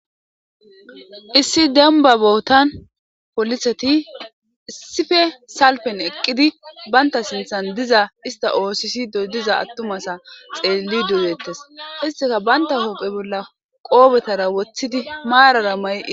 Issi denba bootan poliseti issife salpen eqqidi baynta sinthan diza ista osisi dodiza attumasa xeelli duwettes isteka banta hoophe bolla qoobetara woththidi maarara may